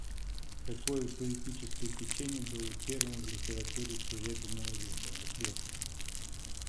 какое поэтическое течение было первым в литературе серебряного века ответ